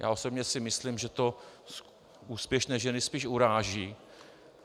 Já osobně si myslím, že to úspěšné ženy spíš uráží.